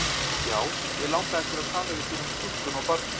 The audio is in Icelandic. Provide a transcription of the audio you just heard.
Já, mig langaði til að tala við þig um stúlkuna og barnið.